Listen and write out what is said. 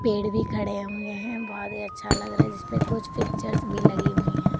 पेड़ भी खड़े हुए हैं बहोत ही अच्छा लग रहा है जिसपे कुछ पिक्चर्स भी लगी हुई है।